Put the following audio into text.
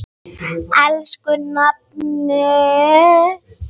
Elsku nafni.